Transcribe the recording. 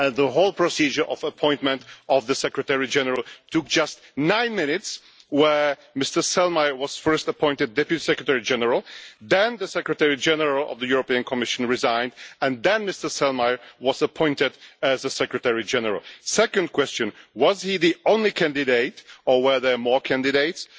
And that the whole procedure for the appointment of the Secretary General took just nine minutes, where Mr Selmayr was first appointed Deputy Secretary General, then the Secretary General of the European Commission resigned, and then Mr Selmayr was appointed as the Secretary General? My second question was he the only candidate, or were there more candidates?